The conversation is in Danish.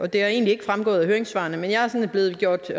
det er ikke fremgået af høringssvarene men jeg er blevet gjort